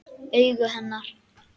Augu hennar.